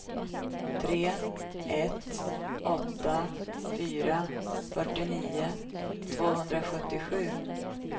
tre ett åtta fyra fyrtionio tvåhundrasjuttiosju